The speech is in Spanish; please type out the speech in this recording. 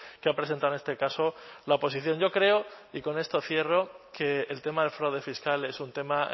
que ha presentado en este caso la oposición yo creo y con esto cierro que el tema del fraude fiscal es un tema